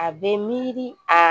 A bɛ miiri a